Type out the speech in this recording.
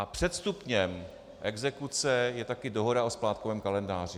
A předstupněm exekuce je také dohoda o splátkovém kalendáři.